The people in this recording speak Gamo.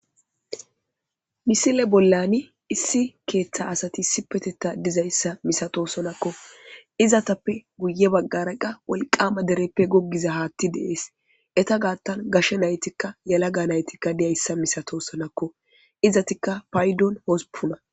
misile bollani issi keeththa asati sipetetta dizayssa misato sonakko izatappe guye baggara qa wolqama dereppe goggiza haatti deees eta gaattan gashe naytikka yalaga naytikka diyayssa misato sonakko izatikka paydon hosupuna.